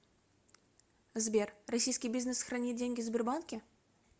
сбер российский бизнес хранит деньги в сбербанке